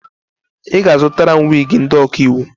Ị ga-azụtara m wiigi ndị ọkaiwu!